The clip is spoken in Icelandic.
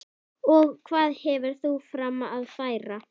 Og hvað hefur þú fram að færa?